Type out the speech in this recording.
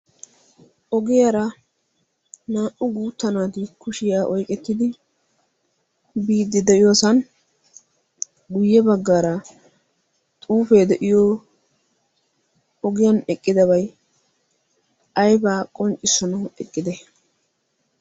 ogiyaara naa''u guutta naati kushiyaa oyqettidi biiddi de'iyoosan guyye baggaara xuufee de'iyo ogiyan eqqidabai aybaa qonccishshanawu eqqide